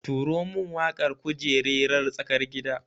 Turo min waƙar kujererar tsakar gida